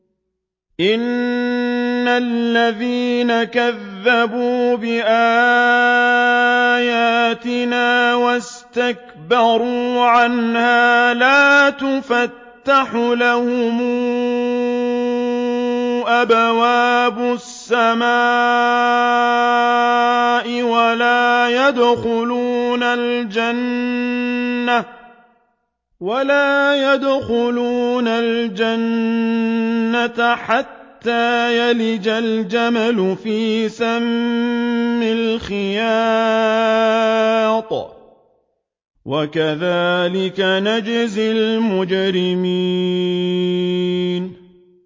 إِنَّ الَّذِينَ كَذَّبُوا بِآيَاتِنَا وَاسْتَكْبَرُوا عَنْهَا لَا تُفَتَّحُ لَهُمْ أَبْوَابُ السَّمَاءِ وَلَا يَدْخُلُونَ الْجَنَّةَ حَتَّىٰ يَلِجَ الْجَمَلُ فِي سَمِّ الْخِيَاطِ ۚ وَكَذَٰلِكَ نَجْزِي الْمُجْرِمِينَ